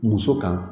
Muso kan